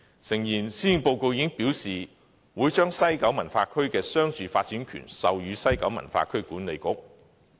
誠然，施政報告已經表示會將西九文化區的商住發展權授予西九文化區管理局。